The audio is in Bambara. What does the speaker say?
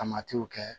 Tamatiw kɛ